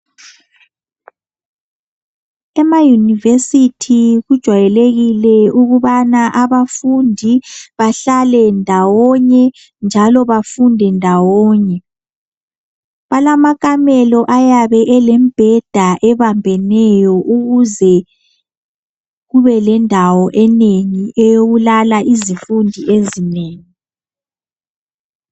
ema univesithi kujayelekile ukubana abafundi behlale ndawone njalo bafunde ndawone balamakamelo ayabe elombheda obambeneyo ukuze kube lendawo enengi eyokulala izifundi ezinengi